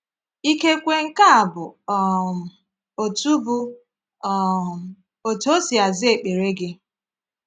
Ikekwe nke a bụ um otú bụ um otú O si aza ekpere gị.